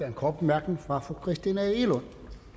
en kort bemærkning fra fru christina egelund